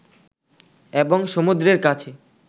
এবং সমুদ্রের কাছে